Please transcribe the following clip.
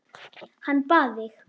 Hann bað þig.